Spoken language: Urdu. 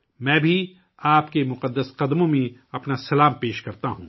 میں بھی آپ کے پوتر چرنوں میں اپنا پرنام پیش کرتا ہوں